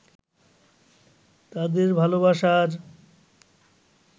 তাদের ভালোবাসার